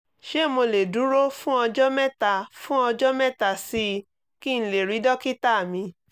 ṣé mo lè dúró fún ọjọ́ mẹ́ta fún ọjọ́ mẹ́ta sí i kí n lè rí dókítà mi?